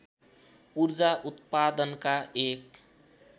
ऊर्जा उत्पादनका एक